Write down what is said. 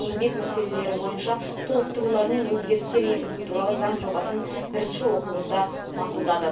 еңбек мәселелері бойынша толықтырулар мен өзгерістер енгізу туралы заң жобасын бірінші оқылымда мақұлдады